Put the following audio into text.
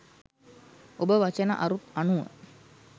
ඔබ වචන අරුත් අනුව